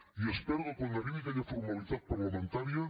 i espero que quan arribi aquella formalitat parlamentària